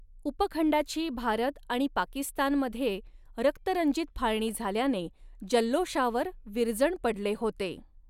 उपखंडाची भारत आणि पाकिस्तानमध्ये रक्तरंजित फाळणी झाल्याने जल्लोषावर विरजण पडले होते.